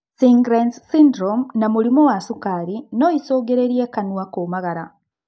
Sjgren's syndrome na mũrimũ wa cukari na noicũngĩrĩrie kanua kũmagara